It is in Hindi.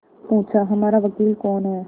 पूछाहमारा वकील कौन है